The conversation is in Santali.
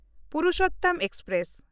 ᱯᱩᱨᱩᱥᱳᱛᱛᱚᱢ ᱮᱠᱥᱯᱨᱮᱥ